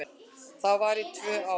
Það var í tvö ár.